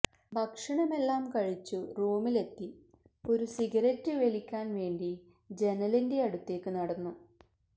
ഭക്ഷണം എല്ലാം കഴിച്ചു റൂമിൽ എത്തി ഒരു സിഗേരെന്റ് വലിക്കാൻ വേണ്ടി ജനലിന്റെ അടുത്തേക്ക് നടന്നു